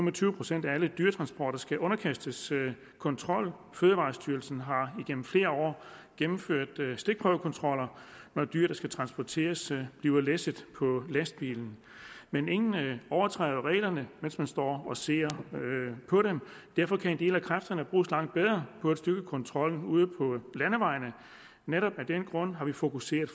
og tyve procent af alle dyretransporter skal underkastes kontrol fødevarestyrelsen har gennem flere år gennemført stikprøvekontroller når dyr der skal transporteres bliver læsset på lastbiler men ingen overtræder reglerne mens man står og ser på dem derfor kan en del af kræfterne bruges langt bedre på at styrke kontrollen ude på landevejene netop af den grund har vi fokuseret